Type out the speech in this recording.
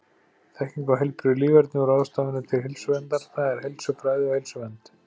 Þekking á heilbrigðu líferni og ráðstafanir til heilsuverndar, það er heilsufræði og heilsuvernd.